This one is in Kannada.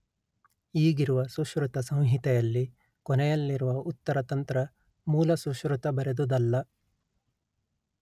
ಈಗಿರುವ ಸುಶ್ರುತ ಸಂಹಿತೆಯಲ್ಲಿ ಕೊನೆಯಲ್ಲಿರುವ ಉತ್ತರ ತಂತ್ರ ಮೂಲ ಸುಶ್ರುತ ಬರೆದುದಲ್ಲ